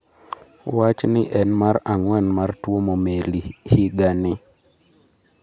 Wachni en mar ang'wen mar tuomo meli higa ni